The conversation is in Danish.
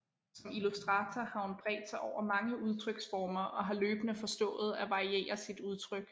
Som illustrator har hun bredt sig over mange udtryksformer og har løbende forstået at variere sit udtryk